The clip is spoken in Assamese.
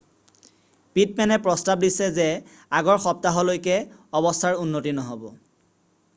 পিটমেনে প্ৰস্তাৱ দিছে যে আগৰ সপ্তাহলৈকে অৱস্থাৰ উন্নতি নহ'ব